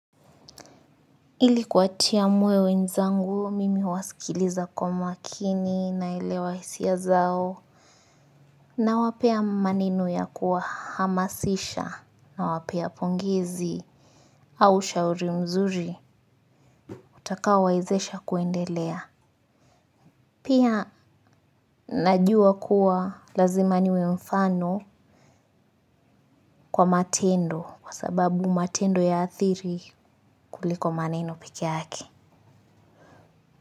Ili kuwatia moyo wenzangu mimi huwasikiliza kwa makini na elewa hisia zao. Nawapea maneno ya kuwa hamasisha nawapea pongezi au ushauri mzuri utakao wezesha kuendelea. Pia najua kuwa lazima niwe mfano kwa matendo kwa sababu matendo ya athiri kuliko maneno pekee yake.